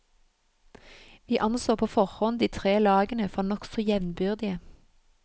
Vi anså på forhånd de tre lagene for nokså jevnbyrdige.